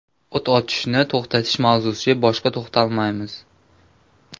O‘t ochishni to‘xtatish mavzusiga boshqa to‘xtalmaymiz.